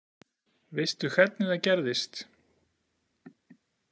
Veistu hvernig það gerðist?